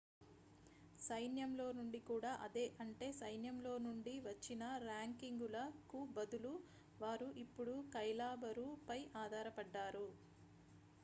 సైన్యం లో నుండి కూడా అదే అంటే సైన్యం లోనుండి వచ్చిన ర్యాంకింగుల కుబదులు వారు ఇప్పుడు కైలాబరు పై ఆధారపడ్డారు